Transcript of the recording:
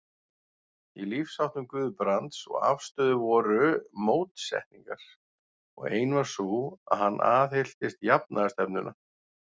Í lífsháttum Guðbrands og afstöðu voru mótsetningar, og ein var sú, að hann aðhylltist jafnaðarstefnuna.